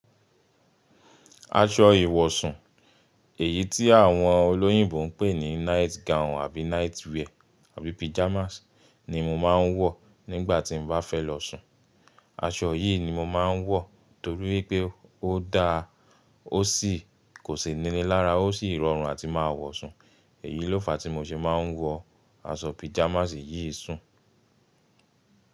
Aṣọ ìwọ̀sùn, èyí tí àwọn olóyìnbo ń pè ní night gown àbí night wear àbí pyjamas ni mo máa ń wọ̀ nígbà tí mo bá fẹ́ lọ sùn. Aṣọ yìí ni mo máa ń wọ torí pé ó da, ó sì kò sì níní lára, ó sì rọrùn àti máa wọ̀ sùn. Èyí ló fa tí mo ṣe máa ń wọ aṣọ pajamas yìí sùn.